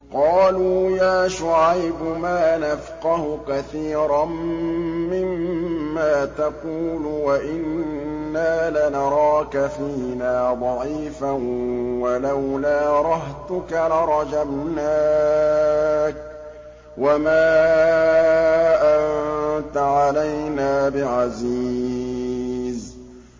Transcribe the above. قَالُوا يَا شُعَيْبُ مَا نَفْقَهُ كَثِيرًا مِّمَّا تَقُولُ وَإِنَّا لَنَرَاكَ فِينَا ضَعِيفًا ۖ وَلَوْلَا رَهْطُكَ لَرَجَمْنَاكَ ۖ وَمَا أَنتَ عَلَيْنَا بِعَزِيزٍ